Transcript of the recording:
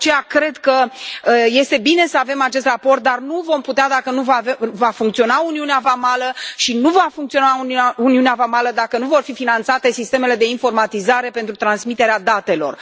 De aceea cred că este bine să avem acest raport, dar nu vom putea dacă nu va funcționa uniunea vamală și nu va funcționa uniunea vamală dacă nu vor fi finanțate sistemele de informatizare pentru transmiterea datelor.